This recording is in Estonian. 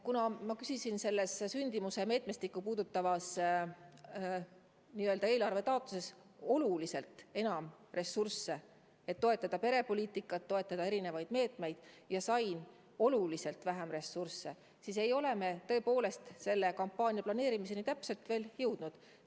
Kuna ma küsisin selles sündimuse meetmestikku puudutavas eelarvetaotluses oluliselt enam ressursse, et toetada perepoliitikat, toetada erinevaid meetmeid, aga sain oluliselt vähem ressursse, siis ei ole me selle kampaania täpse planeerimiseni veel jõudnud.